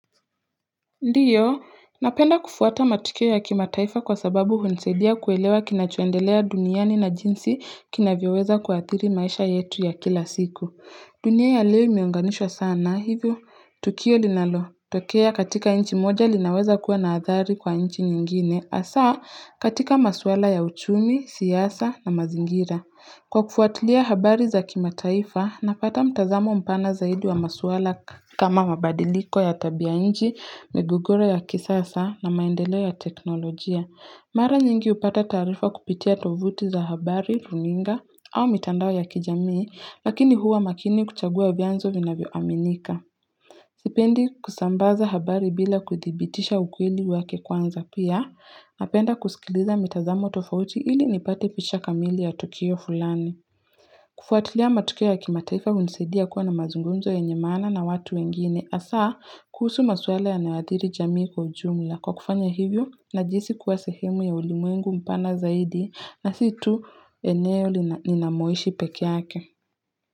Ndiyo, napenda kufuata matukio ya kimataifa kwa sababu unisaidia kuelewa kinachoendelea duniani na jinsi kina vyoweza kwa athiri maisha yetu ya kila siku. Dunia ya leo imeunganishwa sana hivyo. Tukio linalo, tokea katika inchi moja linaweza kuwa na athari kwa inchi nyingine, hasaa katika maswala ya uchumi, siasa na mazingira. Kwa kufuatilia habari za kimataifa, napata mtazamo mpana zaidi wa masuala kama mabadiliko ya tabia inji, migogoro ya kisasa na maendeleo ya teknolojia. Mara nyingi upata taarifa kupitia tovuti za habari, runinga au mitandao ya kijamii, lakini huwa makini kuchagua vyanzo vina vyo aminika. Sipendi kusambaza habari bila kuthibitisha ukweli wake kwanza pia, napenda kuskiliza mitazamo tofauti ili nipate picha kamili ya tukio fulani. Kufuatilia matukio ya kimataifa unisaidia kuwa na mazungunzo yenye maana na watu wengine, hasa kusuhu maswala yanayoadhiri jamii kwa ujumla. Kwa kufanya hivyo, najihisi kuwa sehemu ya ulimwengu mpana zaidi na situ eneo lina ninamoishi pekeeyake.